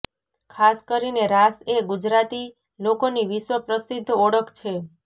ખાસ કરીને રાસ એ ગુજરાતી લોકોની વિશ્વ પ્રસિદ્ધ ઓળખ છે